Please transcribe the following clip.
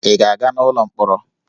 Ị ga-aga n'ụlọ mkpọrọ?